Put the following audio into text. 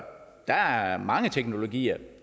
der er mange teknologier